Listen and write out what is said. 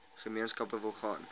gemeenskappe wil gaan